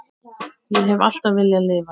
Ég hef alltaf viljað lifa.